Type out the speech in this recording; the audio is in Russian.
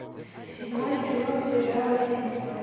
седьмой сезон сериала симпсоны